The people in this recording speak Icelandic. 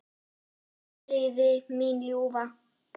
Hvíl í friði, mín ljúfa.